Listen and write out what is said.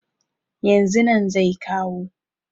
yanzu nan zai kawo